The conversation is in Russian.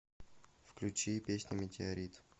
включи песня метеорит